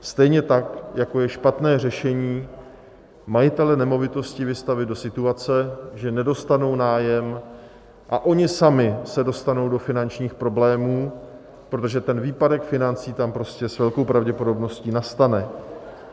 Stejně tak, jako je špatné řešení majitele nemovitostí vystavit do situace, že nedostanou nájem a oni sami se dostanou do finančních problémů, protože ten výpadek financí tam prostě s velkou pravděpodobností nastane.